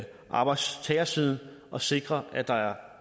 arbejdstagersiden at sikre at der er